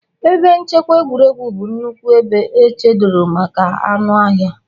Ebe nchekwa egwuregwu bụ nnukwu ebe echedoro maka anụ ọhịa.